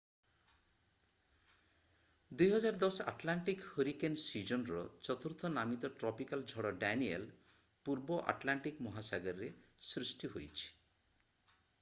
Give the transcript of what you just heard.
2010 Atlantic hurricane ସୀଜନର ଚତୁର୍ଥ ନାମିତ ଟ୍ରପିକାଲ୍ ଝଡ ଡାନିଏଲ୍ ପୂର୍ବ ଆଟଲାଣ୍ଟିକ୍ ମହାସାଗରରେ ସୃଷ୍ଟି ହୋଇଛି